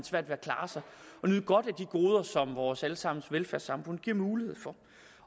nyde godt af de goder som vores alle sammens velfærdssamfund giver mulighed for